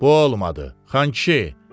Bu olmadı, Xan kişi.